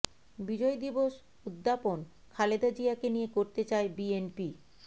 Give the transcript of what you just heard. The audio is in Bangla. বিজয় দিবস উদ্যাপন খালেদা জিয়াকে নিয়ে করতে চায় বিএনপি